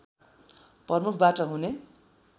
प्रमुखबाट हुने